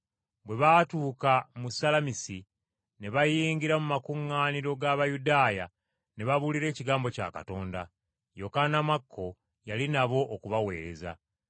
Bwe baatuuka mu Salamisi ne bayingira mu makuŋŋaaniro g’Abayudaaya ne babuulira ekigambo kya Katonda. Yokaana Makko yali nabo okubaweereza.